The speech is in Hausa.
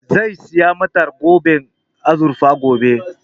Zai saya mata zoben azurfe gobe